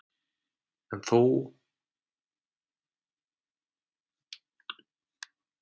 En hún er þó til.